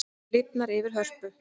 Lifnar yfir Hörpu